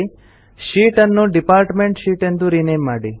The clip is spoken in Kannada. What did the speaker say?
ಶೀಟ್ ಅನ್ನು ಡಿಪಾರ್ಟ್ಮೆಂಟ್ ಶೀಟ್ ಎಂದು ರಿನೇಮ್ ಮಾಡಿ